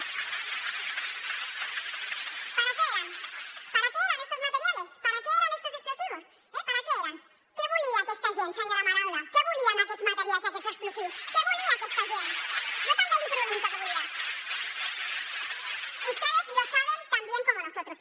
para qué eran para qué eran estos materiales para qué eran estos explosivos eh para qué eran què volia aquesta gent senyora madaula què volia amb aquests materials i aquests explosius què volia aquesta gent jo també li ho pregunto què volia ustedes lo saben tan bien como nosotros